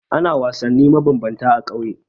Ana wasanni mabambanta a ƙauye.